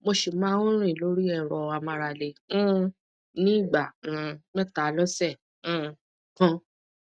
mo si ma n rin lori ero amarale um ni igba um meta lose um kan